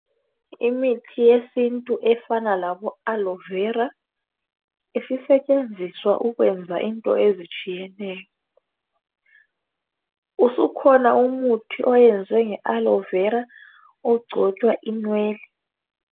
Imithi yesinti efana labo"Aloe vera" isisetshenziswa ukwenza into ezitshiyeneyo. Usukhona umuthi oyenzwe nge"Aloe vera" ogcotshwa inwele.